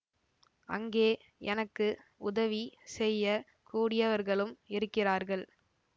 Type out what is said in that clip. அங்கே எனக்கு உதவி செய்ய கூடியவர்களும் இருக்கிறார்கள்